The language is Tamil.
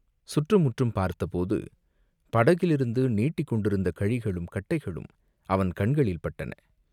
சுற்றுமுற்றும் பார்த்தபோது, படகிலிருந்து நீட்டிக் கொண்டிருந்த கழிகளும் கட்டைகளும் அவன் கண்களில் பட்டன.